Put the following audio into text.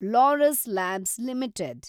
Laurus Labs limited